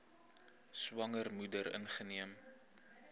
swanger moeder ingeneem